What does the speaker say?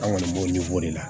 An kɔni b'o de la